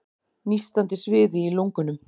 Nístandi sviði í lungunum.